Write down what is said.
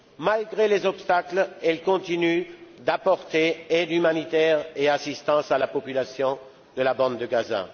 Malgré les obstacles, elle continue d'apporter aide humanitaire et assistance à la population de la bande de Gaza.